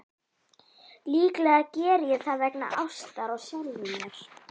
Líklega geri ég það vegna ástar á sjálfum mér.